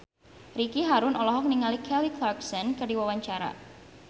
Ricky Harun olohok ningali Kelly Clarkson keur diwawancara